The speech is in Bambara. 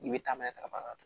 N'i bɛ taama n'a ye taraba ka